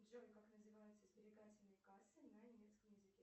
джой как называются сберегательные кассы на немецеом языке